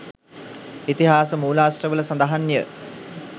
ඉතිහාස මූලාශ්‍රවල සඳහන්ය.